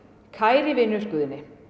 kæri vinur Guðni